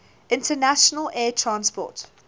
international air transport